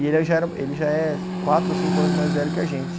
E ele já era, ele já é quatro ou cinco anos mais velho que a gente.